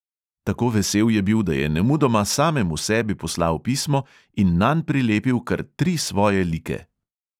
Tako vesel je bil, da je nemudoma samemu sebi poslal pismo in nanj prilepil kar tri svoje like.